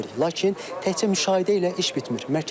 Lakin təkcə müşahidə ilə iş bitmir.